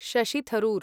Shashi Tharoor